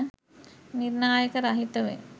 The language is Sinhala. නිර්ණායක රහිතවය.